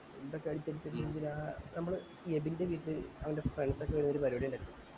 എന്തൊക്കെ items ജീവിതത്തി ആ നമ്മള് എബിൻ ൻറെ വീട്ടില് അവൻ്റെ friends ഒക്കെ ആയി ചെറിയൊരു പരിപാടി ഇണ്ടായിരുന്നു